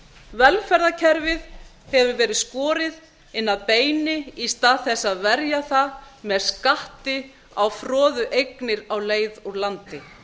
velferðarkerfið hefur verið skorið inn að beini í stað þess að verja það með skatti á froðueignir á leið úr landi